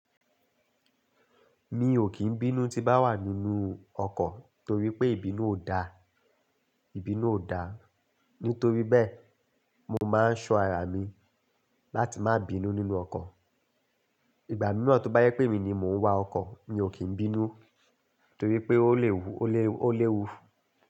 Mi ò kín bínú tí bá wà nínú ọkọ̀ torí pé ìbínú ò da, ìbínú ò da. Nítorí bẹ́ẹ̀, mo máa ń ṣọ ara mi láti má bínú nínú ọkọ̀. Ìgbà mìíràn tó bá jẹ pé emi ni mò ń wa ọkọ̀, mi ò kí n bínú torí pé ó léwu, ó léwu.